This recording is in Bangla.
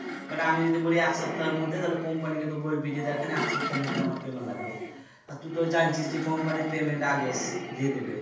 এবার আমি যদি বলি এক সপ্তাহের মধ্যে তালে company কে তো বলবি যে দেখেন এক সপ্তাহের মধ্যে আমাকে এমন লাগবে আর তু তো জানছিস যে company payment আগে দিয়ে দিবে